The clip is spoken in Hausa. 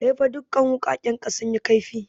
Kaifa dukan wuƙaƙen ka suyi kaifi!